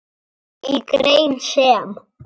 Í grein sem